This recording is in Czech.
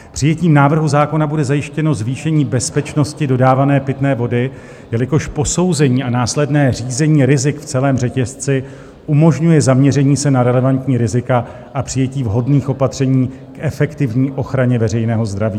Přijetím návrhu zákona bude zajištěno zvýšení bezpečnosti dodávané pitné vody, jelikož posouzení a následné řízení rizik v celém řetězci umožňuje zaměření se na relevantní rizika a přijetí vhodných opatření k efektivní ochraně veřejného zdraví.